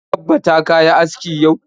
Ka tabbata ka yi aski yau!